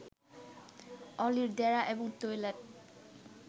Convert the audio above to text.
অলির ডেরা এবং টয়লেট